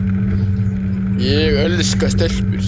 Sér í lagi nánum vinum og skyldfólki.